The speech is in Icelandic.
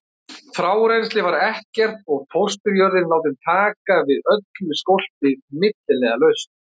Frárennsli var ekkert og fósturjörðin látin taka við öllu skólpi milliliðalaust.